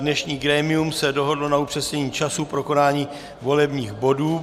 Dnešní grémium se dohodlo na upřesnění času pro konání volebních bodů.